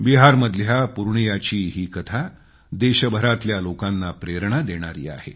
बिहारमधल्या पूर्णियाची ही कथा देशभरातल्या लोकांना प्रेरणा देणारी आहे